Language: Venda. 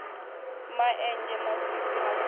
ma enzhe masisi ha gumbu